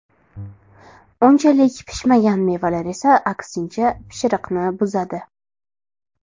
Unchalik pishmagan mevalar esa aksincha, pishiriqni buzadi.